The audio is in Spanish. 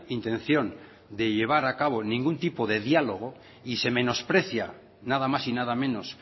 intención de llevar a cabo ningún tipo de diálogo y se menosprecia nada más y nada menos